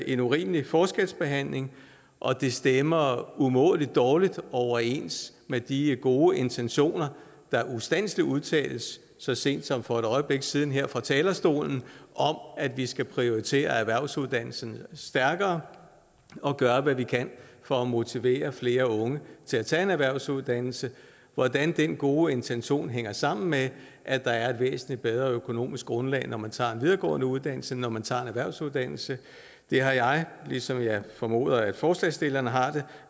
en urimelig forskelsbehandling og det stemmer umådelig dårligt overens med de gode intentioner der ustandselig udtales så sent som for et øjeblik siden her fra talerstolen om at vi skal prioritere erhvervsuddannelserne stærkere og gøre hvad vi kan for at motivere flere unge til at tage en erhvervsuddannelse hvordan den gode intention hænger sammen med at der er et væsentlig bedre økonomisk grundlag når man tager en videregående uddannelse end når man tager en erhvervsuddannelse har jeg ligesom jeg formoder at forslagsstillerne har det